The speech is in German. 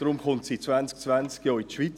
Deshalb kommt sie 2020 in die Schweiz.